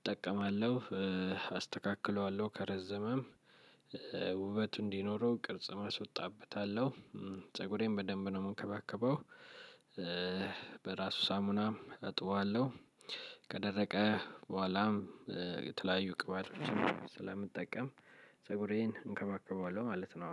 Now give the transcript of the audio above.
እጠቀማለሁ። አስተካክለዋለሁ ከረዘመም ውበቱ እንዲኖረው ቅርጽም አስወጣበታለሁ ፀጉሬን በደንብ ነው እምንከባከበው። በራሱ ሳሙናም እጥበዋለሁ። ከደረቀ በኋላም የተለያዩ ቅባቶችን ስለምንጠቀም ፀጉሬን እንከባከበዋለሁ ማለት ነው